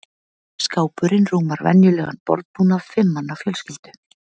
Skápurinn rúmar venjulegan borðbúnað fimm manna fjölskyldu.